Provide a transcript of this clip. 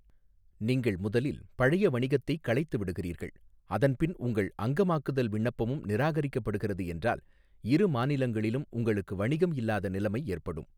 நீங்கள் முதலில் பழைய வணிகத்தைக் களைத்துவிடுகிறீர்கள், அதன்பின் உங்கள் அங்கமாக்குதல் விண்ணப்பமும் நிராகரிக்கப்படுகிறது என்றால், இரு மாநிலங்களிலும் உங்களுக்கு வணிகம் இல்லாத நிலைமை ஏற்படும்.